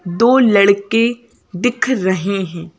दो लड़के दिख रहे हैं।